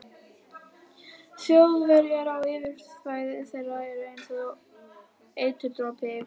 Þjóðverji á yfirráðasvæði þeirra er einsog eiturdropi í blóðinu.